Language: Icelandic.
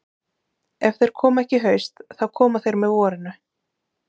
Ef þeir koma ekki í haust þá koma þeir með vorinu.